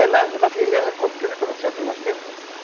é na na firmeza, quer ver o nós temos?